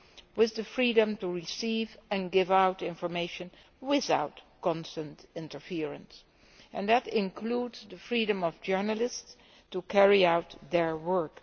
they must have the freedom to receive and give out information without constant interference, and that includes the freedom of journalists to carry out their work.